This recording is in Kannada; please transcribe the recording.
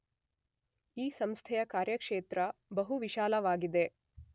ಈ ಸಂಸ್ಥೆಯ ಕಾರ್ಯಕ್ಷೇತ್ರ ಬಹು ವಿಶಾಲವಾಗಿದೆ.